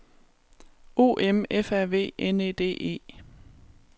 O M F A V N E D E